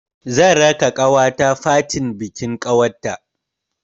Zan raka ƙawata fatin bikin ƙanwar ta.